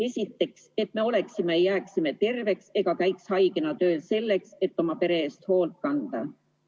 Esiteks, et me oleksime terved ja jääksime terveks ega käiks haigena tööl – seda selleks, et oma pere eest hoolt kanda.